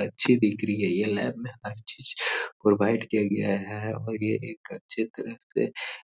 अच्छी दिख रही है। यह लैब में अच्छे से प्रोवाईड किया गया है और यह एक अच्छे तरह से